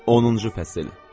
Onuncu fəsil.